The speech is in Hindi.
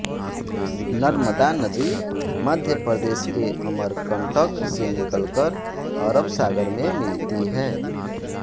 नर्मदा नदी मध्य प्रदेश के अमरकंटक से निकल कर अरब सागर में मिलती हैं